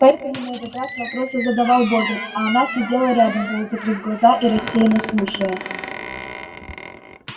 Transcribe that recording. поэтому на этот раз вопросы задавал богерт а она сидела рядом полузакрыв глаза и рассеянно слушая